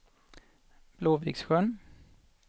Blåviksjön